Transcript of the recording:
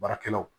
Baarakɛlaw